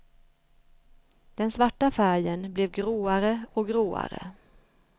Den svarta färgen blev gråare och gråare.